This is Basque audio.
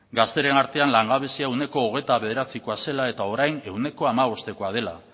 gazteriaren artean langabezia ehuneko hogeita bederatzikoa zela eta orain ehuneko hamabostekoa dela